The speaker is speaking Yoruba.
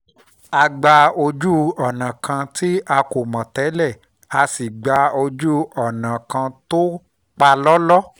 a yà gba ojú-ọ̀nà kan tí a kò mọ̀ tẹ́lẹ̀ a sì gba ojú ọ̀nà kan tó palọ́lọ́